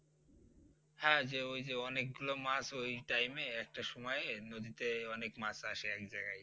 হ্যাঁ ওই যে অনেক গুলো মাছ ওই time এ একটা সময়ে নদীতে অনেক মাছ আসে এক জায়গায়